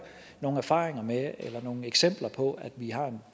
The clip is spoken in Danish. nogle erfaringer med eller nogle eksempler på at vi har en